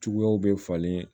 Cogoyaw bɛ falen